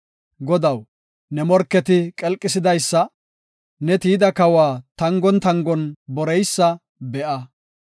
Godaw, ne morketi qelqisidaysa, ne tiyida kawa tangon tangon boreysa be7a.